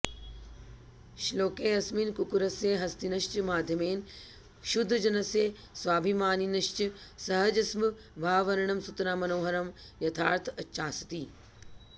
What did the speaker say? श्लोकेऽस्मिन् कुक्कुरस्य हस्तिनश्च माध्यमेन क्षुद्रजनस्य स्वाभिमानिनश्च सहजस्वभाववर्णनं सुतरां मनोहरं यथार्थञ्चास्ति